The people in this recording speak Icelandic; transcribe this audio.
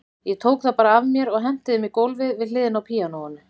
Ég tók þá bara af mér og henti þeim á gólfið við hliðina á píanóinu.